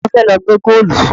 Ta ló fẹ́ lọ gbẹ́ góòlù?